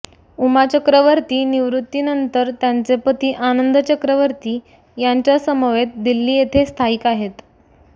उमा चक्रवर्ती निवृत्ती नंतर त्यांचे पती आनंद चक्रवर्ती यांच्या समवेत दिल्ली येथे स्थायिक आहेत